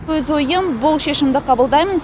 өз ойым бұл шешімді қабылдаймын